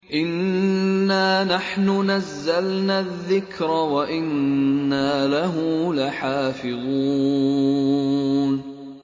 إِنَّا نَحْنُ نَزَّلْنَا الذِّكْرَ وَإِنَّا لَهُ لَحَافِظُونَ